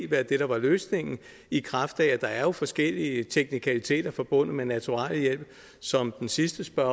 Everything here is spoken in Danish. være det der var løsningen i kraft af at der jo er forskellige teknikaliteter forbundet med naturalhjælp som den sidste spørger